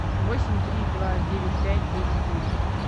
восемь три два девять пять девять девять